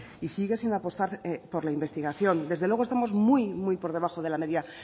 y sigue sin apostar por la investigación desde luego estamos muy por debajo de la media